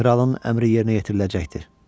Kralın əmri yerinə yetiriləcəkdir.